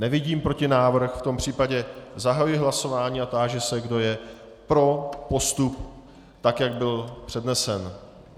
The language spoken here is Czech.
Nevidím protinávrh, v tom případě zahajuji hlasování a táži se, kdo je pro postup tak, jak byl přednesen.